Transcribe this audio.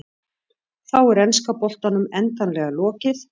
Þá er enska boltanum endanlega lokið.